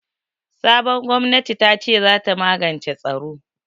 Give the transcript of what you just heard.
Sabon gwamnati tace zata magance tsaro.